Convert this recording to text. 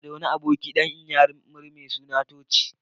Ina da wani abokina dan iyammari mai suna Tochi.